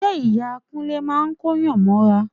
Ṣe Ìyá Kúnlé máa kóyàn mọ́ra?